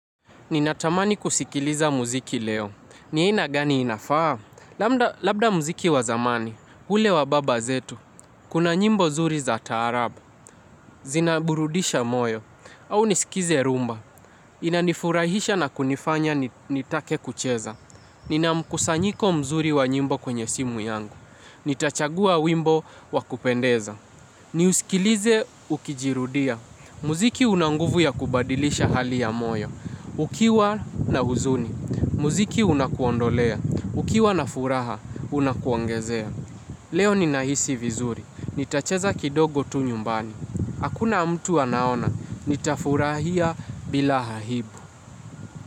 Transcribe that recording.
Ninatamani kusikiliza muziki leo. Ni aina gani inafaa lambda. Labda muziki wazamani, ule wababazetu, kuna nyimbo zuri za taarabu, zinaburudisha moyo, au nisikize rumba. Inanifurahisha na kunifanya nitake kucheza. Ninamkusanyiko mzuri wa nyimbo kwenye simu yangu. Nitachagua wimbo wakupendeza. Ni usikilize ukijirudia. Muziki unanguvu ya kubadilisha hali ya moyo. Ukiwa na huzuni, muziki unakuondolea, ukiwa na furaha unakuongezea. Leo ni nahisi vizuri, nitacheza kidogo tu nyumbani. Hakuna mtu anaona, nitafurahia bila hahibu.